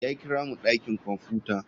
Ya kira mu dakin kwamfuta.